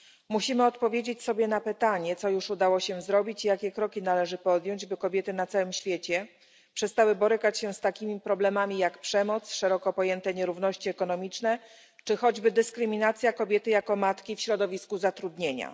Musimy odpowiedzieć sobie na pytanie, co już udało się zrobić, i jakie kroki należy podjąć, by kobiety na całym świecie przestały borykać się z takimi problemami jak przemoc, szeroko pojęte nierówności ekonomiczne, czy choćby dyskryminacja kobiety jako matki w środowisku zatrudnienia.